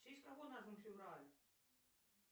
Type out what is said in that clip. в честь кого назван февраль